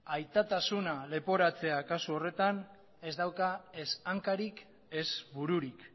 aitatasuna leporatzea kasu horretan ez dauka ez hankarik ez bururik